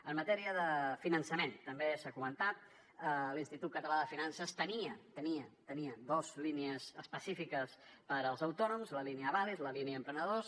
en matèria de finançament també s’ha comentat l’institut català de finances tenia tenia dos línies específiques per als autònoms la línia avalis la línia emprenedors